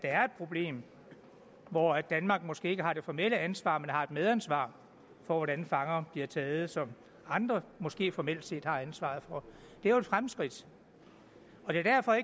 er et problem hvor danmark måske ikke har det formelle ansvar men har et medansvar for hvordan fangerne bliver taget som andre måske formelt set har ansvaret for det er jo et fremskridt det er derfor